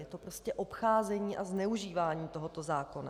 Je to prostě obcházení a zneužívání tohoto zákona.